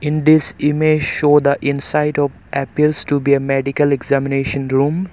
In this image show the inside of appears to be a medical examination room.